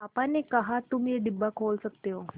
पापा ने कहा तुम ये डिब्बा खोल सकते हो